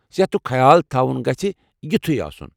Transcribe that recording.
صحتُك خیال تھوُن گژھِ یِتُھے آسُن ۔